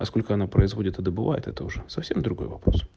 а сколько она происходит это бывает это уже совсем другой вопрос